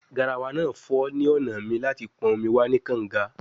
Garawa naa fo ni ọna mi lati lo pon omi wa ni kanga